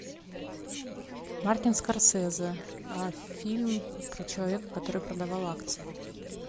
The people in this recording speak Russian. мартин скорсезе фильм про человека который продавал акции